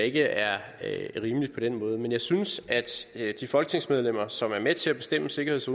ikke er rimeligt men jeg synes at de folketingsmedlemmer som er med til at bestemme sikkerheds